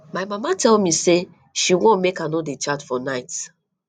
my mama tell me say she wan make i no dey chat for night